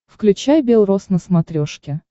включай бел рос на смотрешке